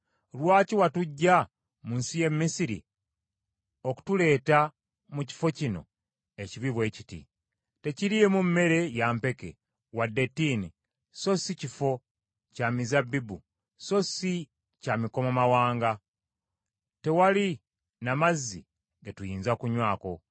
Lwaki watuggya mu nsi y’e Misiri okutuleeta mu kifo kino ekibi bwe kiti? Tekiriimu mmere ya mpeke wadde ttiini, so si kifo kya mizabbibu, so si kya mikomamawanga. Tewali na mazzi ge tuyinza kunywako!”